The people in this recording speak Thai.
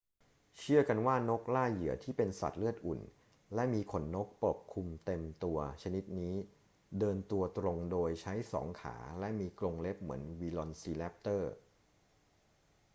เชื่อกันว่านกล่าเหยื่อที่เป็นสัตว์เลือดอุ่นและมีขนนกปกคลุมเต็มตัวชนิดนี้เดินตัวตรงโดยใช้สองขาและมีกรงเล็บเหมือนวิลอซีแรปเตอร์